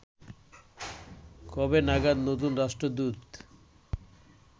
কবে নাগাদ নতুন রাষ্ট্রদূত